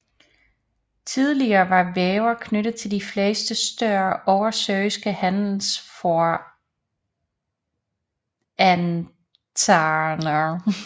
Tillige var Wever knyttet til de fleste større oversøiske handelsforetagender